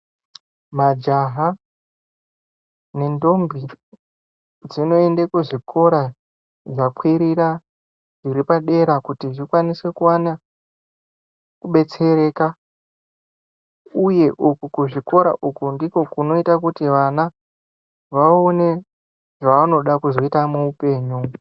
Majaha nendombi, dzinoyende kuzvikora zvakwirira iripadera kuti dzikwanise kuwana kubetsereka. Uye, uko kuzvikora uku, ndiko kunoyita kuti vana vawone zvavanoda kuzoyita muwupenyu.